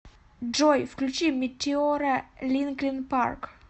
джой включи метеора линкин парк